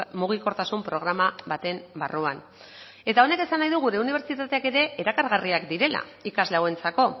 mugikortasun programa baten barruan eta honek esan nahi du gure unibertsitateak ere erakargarriak direla ikasle hauentzako